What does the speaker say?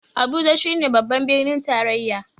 Abuja shi ne babban birnin tarayya